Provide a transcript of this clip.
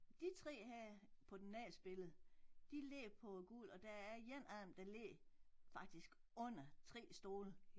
De 3 her på den næste billede de ligger på gulv og der er en anden der ligger faktisk under 3 stole